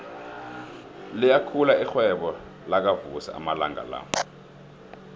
liyakhula irhwebo lakavusi amalanga la